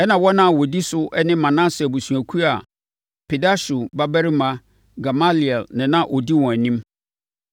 ɛnna wɔn a na wɔdi so ne Manase abusuakuo a Pedahsur babarima Gamaliel na na ɔdi wɔn anim;